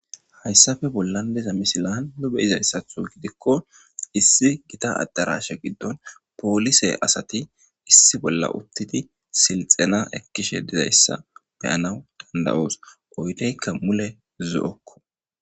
hayssafe bollandiza misilan lobe izayssatho gidikko issi gita addarashe giddon poolise asati issi bolla uttidi silxena ekkishe dizayssa beyanawu danda7oos oydeykka mule zo7okko